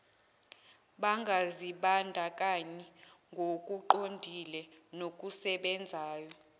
bangazibandakanyi ngokuqondile nokusebenzayo